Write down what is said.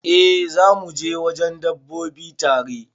Eh zamu je wajen dabbobi tare.